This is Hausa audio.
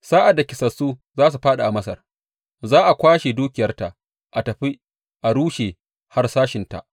Sa’ad da kisassu za su fāɗi a Masar, za a kwashe dukiyarta a tafi a rushe harsashinta.